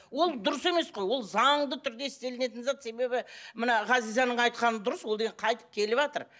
ол дұрыс емес қой ол заңды түрде істелінетін зат себебі мына ғазизаның айтқаны дұрыс ол деген қайтып келіватыр